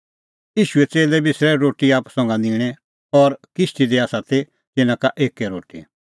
ता च़ेल्लै बिसरूऐ रोटी संघा निंणै और किश्ती दी ती तिन्नां का एक्कै रोटी